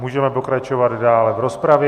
Můžeme pokračovat dále v rozpravě.